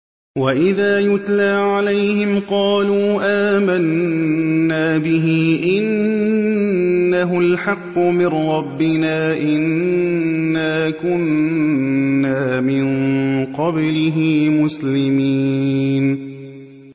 وَإِذَا يُتْلَىٰ عَلَيْهِمْ قَالُوا آمَنَّا بِهِ إِنَّهُ الْحَقُّ مِن رَّبِّنَا إِنَّا كُنَّا مِن قَبْلِهِ مُسْلِمِينَ